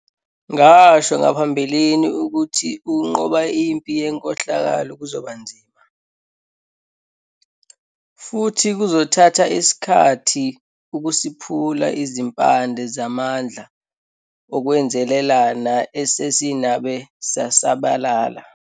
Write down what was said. Ngasho ngaphambilini ukuthi ukunqoba impi yenkohlakalo kuzoba nzima, futhi kuzothatha isikhathi ukusiphula izimpande zalamandla okwenzelelana esezinabe zasabalala.